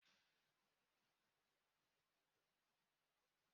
Nwa akwụkwọ ahụ dara na steepụ.